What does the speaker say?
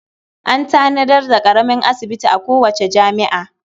An tanadar daƙaramin asibiti a kowace jami'a.